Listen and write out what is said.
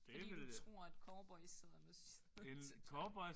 Fordi du tror at cowboys sidder med siden til døren